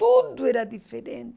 Tudo era diferente.